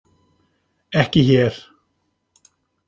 Ekki hér.